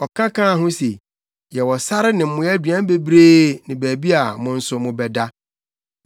Ɔka kaa ho se, “Yɛwɔ sare ne mmoa aduan bebree ne baabi a mo nso mobɛda.”